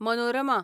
Manorama